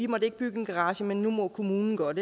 måtte bygge en garage men nu må kommunen godt